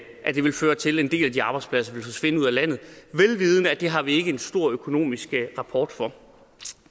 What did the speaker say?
at det vil føre til at en del af de arbejdspladser vil forsvinde ud af landet vel vidende at det har vi ikke en stor økonomisk rapport for